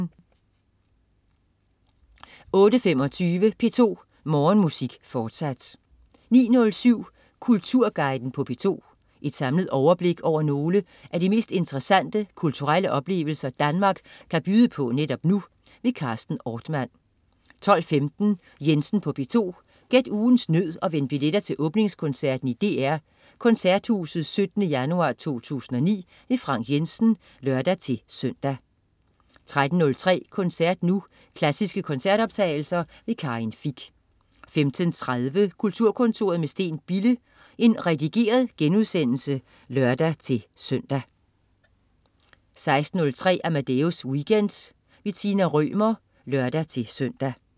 08.25 P2 Morgenmusik, fortsat 09.07 Kulturguiden på P2. Et samlet overblik over nogle af de mest interessante kulturelle oplevelser Danmark kan byde på netop nu. Carsten Ortmann 12.15 Jensen på P2. Gæt ugens nød og vind billetter til åbningskoncerten i DR Koncerthuset 17. januar 2009. Frank Jensen (lør-søn) 13.03 Koncert Nu. Klassiske koncertoptagelser. Karin Fich 15.30 Kulturkontoret med Steen Bille. Redigeret genudsendelse (lør-søn) 16.03 Amadeus Weekend. Tina Rømer (lør-søn)